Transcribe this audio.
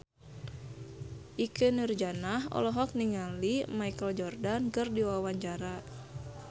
Ikke Nurjanah olohok ningali Michael Jordan keur diwawancara